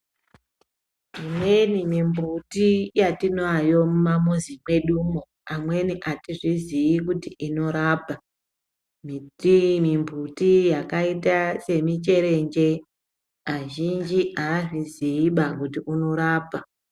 Imweni mimbuti yatinayo mumamuzi mwedumwo , amweni atizvizii kuti inorapa .Miti mimbuti yakaita seminjere azhinji aazviziiba kuti unorapa.